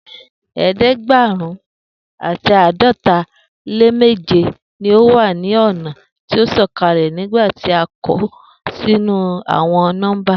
eedegberun ati aadọta le meje ni o wa ni ọna ti o sọkalẹ nigbati a kọ sinu awọn nọmba